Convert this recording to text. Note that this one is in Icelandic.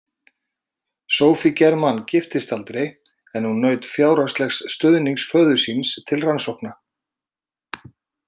Sophie Germain giftist aldrei en hún naut fjárhagslegs stuðnings föður síns til rannsókna.